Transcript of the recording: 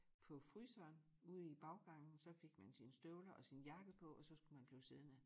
På fryseren ude i baggangen så fik man sine støvler og sin jakke på og så skulle man blive siddende